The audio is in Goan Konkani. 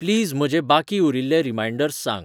प्लीज म्हजे बाकी उरील्ले रीमाइन्डर्स सांग